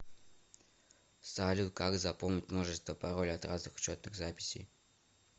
салют как запомнить множество паролей от разных учетных записей